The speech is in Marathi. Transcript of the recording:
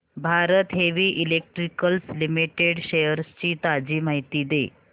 Bharat heavy electricals limited shares ची ताजी माहिती दे